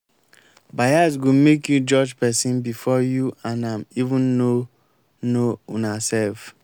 bias go make you judge pesin before you and am even know know unaself.